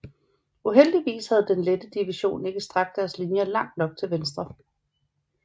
Uheldigvis havde den Lette Division ikke strakt deres linjer langt nok til venstre